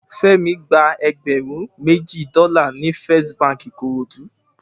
Femi gbà ègbèrún mèji dòlá ni Fèst bànkí Ikorodu